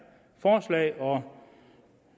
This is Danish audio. forslag og